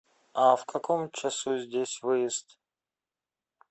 а в каком часу здесь выезд